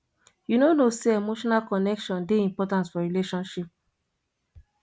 you no know sey emotional connection dey important for relationship